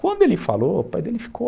Quando ele falou, o pai dele ficou...